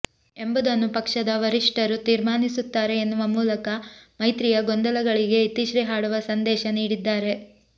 ಎಂಬುದನ್ನು ಪಕ್ಷದ ವರಿಷ್ಟರು ತೀರ್ಮಾನಿಸುತ್ತಾರೆ ಎನ್ನುವ ಮೂಲಕ ಮೈತ್ರಿಯ ಗೊಂದಲಗಳಿಗೆ ಇತಿಶ್ರೀ ಹಾಡುವ ಸಂದೇಶ ನೀಡಿದ್ದಾರೆ